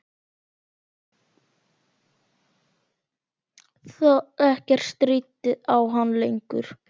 Ekkert stríddi á hann lengur.